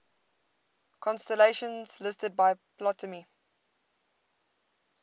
constellations listed by ptolemy